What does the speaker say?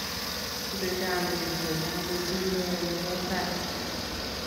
Sherekeoni biik che chang betut ne oo ne bo tai.